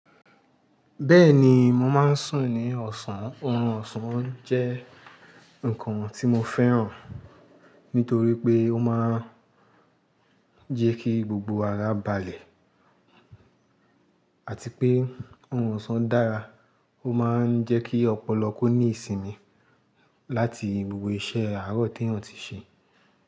Bẹ́ẹ̀ni, mo máa ń sùn ní ọ̀sán. Orun ọ̀sán jẹ́ nǹkan tí mo fẹ́ràn nítorí pé ó máa ń jẹ́ kí gbogbo ara balẹ̀ àti pé oorun ọ̀sán dára. Ó máa ń jẹ́ kí ọ̀pọ̀lọ kó ní ìsinmi láti gbogbo iṣẹ́ àárọ̀ teyan ti ṣe.